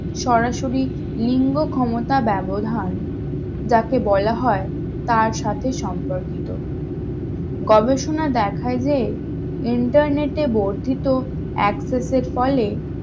সরাসরি লিঙ্গ ক্ষমতা ব্যবধান যাকে বলা হয় তার সাথে সম্পর্কিত গবেষণায় দেখায় যে internet এ বর্ধিত access এর ফলে